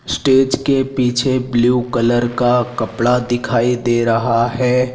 Stage के पीछे blue colour का कपड़ा दिखाई दे रहा हैं।